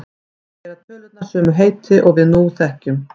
Þar bera tölurnar sömu heiti og við þekkjum nú.